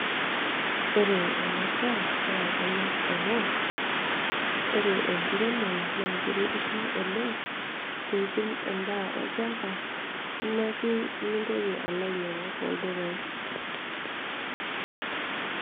Ore enasiai naa kanyor amu ore enkiremore na keiremisho oleng' ,nitum endaa olchamba nimintoki alo ainyangu toldukai.